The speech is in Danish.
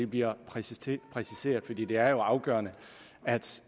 bliver præciseret præciseret for det er jo afgørende at